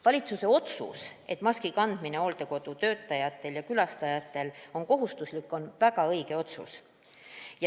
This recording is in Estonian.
Valitsuse otsus teha maski kandmine hooldekodutöötajatele ja külastajatele kohustuslikuks on väga õige.